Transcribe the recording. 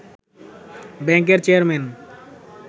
ব্যাংকের চেয়ারম্যান